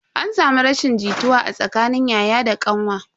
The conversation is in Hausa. An samu rashin jituwa a tsakanin yaya da kanwa.